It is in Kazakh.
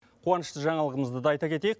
қуанышты жаңалығымызды да айта кетейік